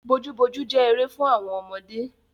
Bojúbojú jẹ́ eré fún àwọn ọmọdé.